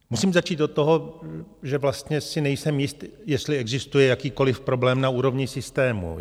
Musím začít od toho, že vlastně si nejsem jist, jestli existuje jakýkoliv problém na úrovni systému.